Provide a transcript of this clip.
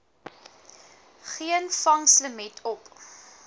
geen vangslimiet op